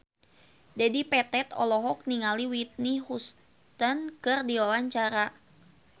Dedi Petet olohok ningali Whitney Houston keur diwawancara